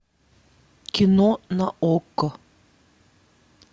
кино на окко